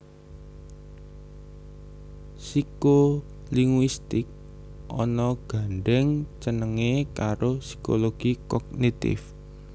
Psikolinguistik ana gandhèng cènèngé karo psikologi kognitif